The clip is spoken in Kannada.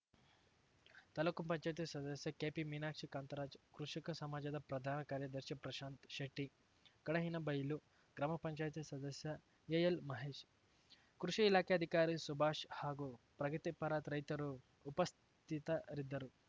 ತಾಲೂಕುಪಂಚಾಯ್ತಿ ಸದಸ್ಯೆ ಕೆಪಿ ಮೀನಾಕ್ಷಿ ಕಾಂತರಾಜ್‌ ಕೃಷಿಕ ಸಮಾಜದ ಪ್ರಧಾನ ಕಾರ್ಯದರ್ಶಿ ಪ್ರಶಾಂತ್‌ ಶೆಟ್ಟಿ ಕಡಹಿನಬೈಲು ಗ್ರಾಮಪಂಚಾಯ್ತಿ ಸದಸ್ಯ ಎಎಲ್‌ ಮಹೇಶ್‌ ಕೃಷಿ ಇಲಾಖೆ ಅಧಿಕಾರಿ ಸುಭಾಷ್‌ ಹಾಗೂ ಪ್ರಗತಿಪರ ರೈತರು ಉಪಸ್ಥಿತರಿದ್ದರು